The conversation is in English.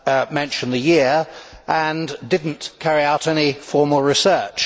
mention the year and did not carry out any formal research.